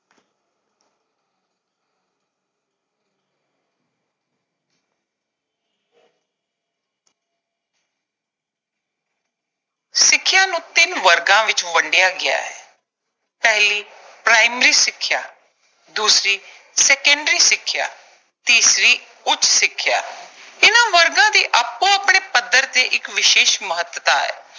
ਸਿੱਖਿਆ ਨੂੰ ਤਿੰਨ ਵਰਗਾਂ ਵਿੱਚ ਵੰਡਿਆ ਗਿਆ ਹੈ। ਪਹਿਲੀ ਪ੍ਰਾਇਮਰੀ ਸਿੱਖਿਆ, ਦੂਸਰੀ ਸੈਕੰਡਰੀ ਸਿੱਖਿਆ, ਤੀਸਰੀ ਉੱਚ ਸਿੱਖਿਆ l ਇਨ੍ਵਾਂ ਵਰਗਾਂ ਦੀ ਆਪੋ-ਆਪਣੇ ਪੱਧਰ ਤੇ ਇੱਕ ਵਿਸ਼ੇਸ਼ ਮਹੱਤਤਾ ਹੈ।